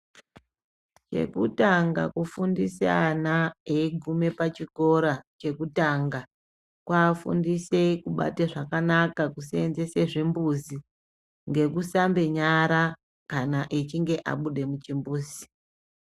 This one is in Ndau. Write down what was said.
Chekutanga kufundisa ana eyiguma pachikora chekutanga, kuafundise kubata zvakanaka kuseenzesa zvimbuzi ,ngekusambe nyara kana achinge abuda muchimbuzi.